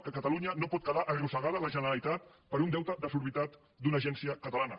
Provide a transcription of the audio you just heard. que catalunya no pot quedar arrossegada la generalitat per un deute desorbitat d’una agència catalana